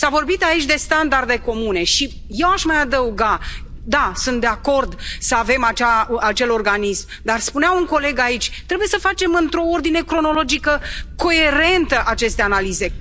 S a vorbit aici de standarde comune și eu aș mai adăuga da, sunt de acord să avem acel organism, dar spunea un coleg aici trebuie să facem într o ordine cronologică coerentă aceste analize.